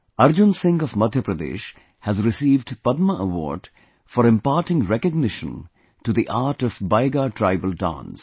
Arjun Singh of Madhya Pradesh has received Padma award for imparting recognition to the art of Baiga tribal dance